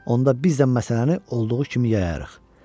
onda biz də məsələni olduğu kimi yayarıq.